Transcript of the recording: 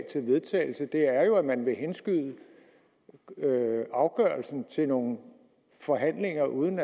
til vedtagelse er at man vil henskyde afgørelsen til nogle forhandlinger uden